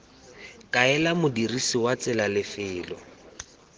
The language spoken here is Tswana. kaela modirisi wa tsela lefelo